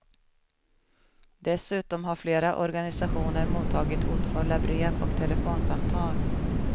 Dessutom har flera organisationer mottagit hotfulla brev och telefonsamtal.